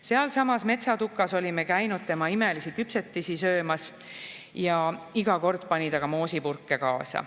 Sealsamas metsatukas olime käinud imelisi küpsetisi söömas ja iga kord pani ta meile moosipurke kaasa.